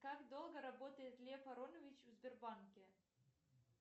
как долго работает лев аронович в сбербанке